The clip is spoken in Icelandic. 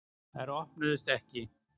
Þær opnuðust ekki.